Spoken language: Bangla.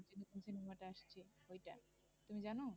তুমি জানো?